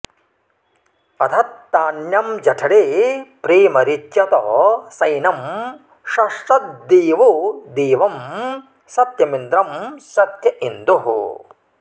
अधत्तान्यं जठरे प्रेमरिच्यत सैनं सश्चद्देवो देवं सत्यमिन्द्रं सत्य इन्दुः